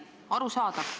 Arusaadav.